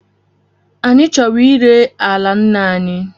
Anyị chọrọ ire ala nna anyi